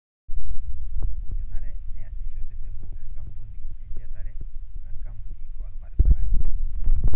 Kenare neasisho tenebo enkampuni enchetare o enkampuni o irbaribarani.